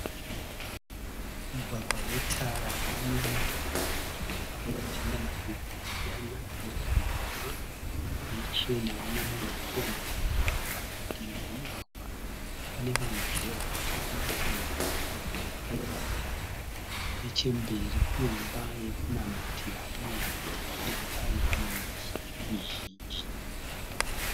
Mugwagwa une tara. Mune motokari dziri kufamba dzichienda mativi akasiyana, mota nhema nechena. Mune munhu ari kuyambuka mugwagwa. Padivi pomugwagwa pane vanhuzve vari kufamba kusanganisira mukadzi akatakura sagi. Nechemberi kune imba yokunamatira uye padivi payo pane miti mizhinji.